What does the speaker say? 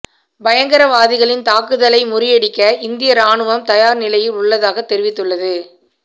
பயங்கரவாதிகளின் தாக்குதலை முறியடிக்க இந்திய ராணுவம் தயார் நிலையில் உள்ளதாக தெரிவித்துள்ளது